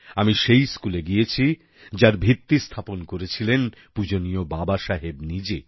আমি সেই স্কুলে গেছি যার ভিত্তি স্থাপন করেছিলেন পূজনীয় বাবা সাহেব নিজে